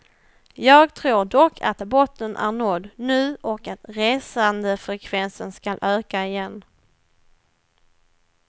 Jag tror dock att botten är nådd nu och att resandefrekvensen skall öka igen.